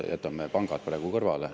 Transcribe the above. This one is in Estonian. Jätame pangad praegu kõrvale.